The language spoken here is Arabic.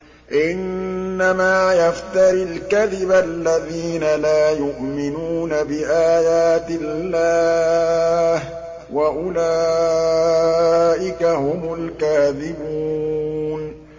إِنَّمَا يَفْتَرِي الْكَذِبَ الَّذِينَ لَا يُؤْمِنُونَ بِآيَاتِ اللَّهِ ۖ وَأُولَٰئِكَ هُمُ الْكَاذِبُونَ